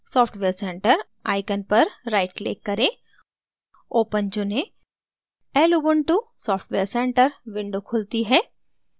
software center icon पर right click करें open चुनें lubuntu software center window खुलती है